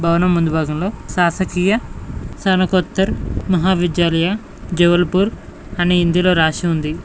భవనం ముందు భాగంలో సాసకీయ సనకొత్తూర్ మహా విద్యాలయ జావుల్పూర్ అని ఇందులో రాసి ఉంది.